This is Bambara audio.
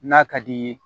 N'a ka di ye